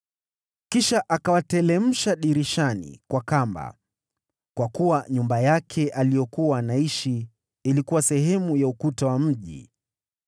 Kisha akawateremsha dirishani kwa kamba, kwa kuwa nyumba yake aliyokuwa anaishi ilikuwa sehemu ya ukuta wa mji.